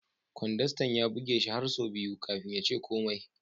Kwandastan ya buge shi har sau biyu kafin ya ce komai.